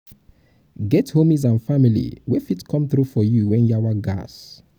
get hommies and family wey fit come through for you when um yawa gas